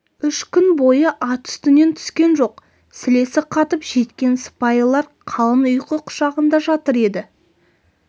үш күн бойы ат үстінен түскен жоқ сілесі қатып жеткен сыпайылар қалың ұйқы құшағында жатыр еді